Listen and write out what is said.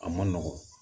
A ma nɔgɔ